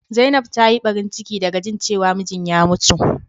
Zainab ta yi Barin cike da ga jin cewa mijin ya ya mutu.